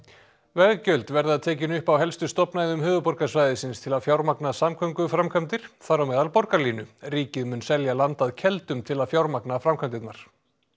veggjöld verða tekin upp á helstu stofnæðum höfuðborgarsvæðisins til að fjármagna samgönguframkvæmdir þar á meðal borgarlínu ríkið mun selja land að Keldum til að fjármagna framkvæmdirnar